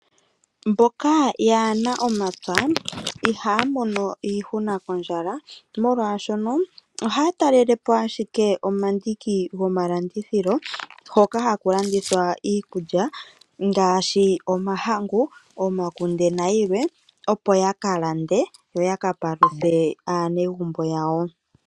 Mboka yaana ompya ihaya mono iihuna kondjala, molwashono ohaya talelapo ashike omandiki go malandithilo, hoka haku landithwa iikulya ngaashi omahangu, omakunde nayilwe opo ya kalande yo yaka paluthe aanegumbo yawo.